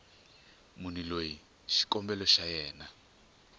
munhu loyi xikombelo xa yena